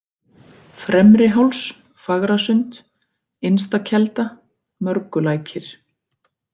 Fremri-Háls, Fagrasund, Innsta kelda, Mörgulækir